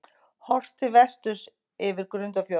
Horft til vesturs yfir Grundarfjörð.